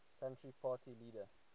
country party leader